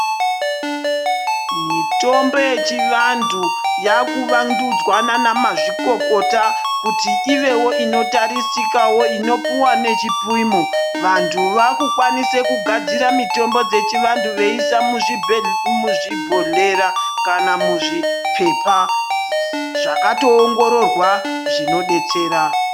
Mitombo yechivantu yakuvandudzwa nanamazvikokota kuti ivewo inotarisikawo inopuwa nechipimo. Vantu vaakukwanise kugadzire mitombo dzechivantu veise mumabhodhleya kana muzvipepa zvakatoongororwa zvinodetsera.